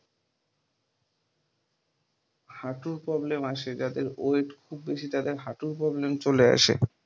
হাটুর problem আসে, যাদের weight খুব বেশি তাদের হাটুর problem চলে আসে।